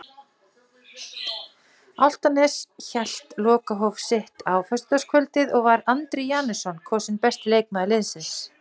Álftanes hélt lokahóf sitt á föstudagskvöldið og var Andri Janusson kosinn besti leikmaður liðsins.